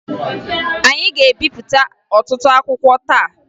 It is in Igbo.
Anyị ga-ebipụta ọtụtụ akwụkwọ taa